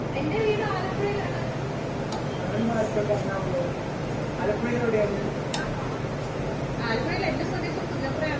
എൻറെവിടെ ആലപ്പുഴയിലാണ്. ആണോ ആലപ്പുഴയിൽ എന്റെ സ്വദേശം പുന്നപ്പറയാണ്.